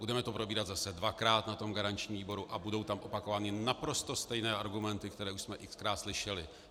Budeme to probírat zase dvakrát na garančním výboru a budou tam opakovány naprosto stejné argumenty, které už jsme x-krát slyšeli.